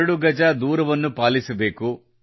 2 ಗಜ ದೂರವನ್ನು ಪಾಲಿಸಬೇಕು